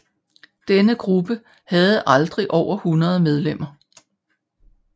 Denne gruppe havde aldrig over 100 medlemmer